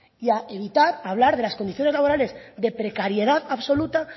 y a evitar hablar de las condiciones laborales de precariedad absoluta